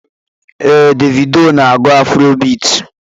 Ee, Davido na-agụ afrobit.